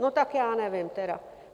No, tak já nevím tedy.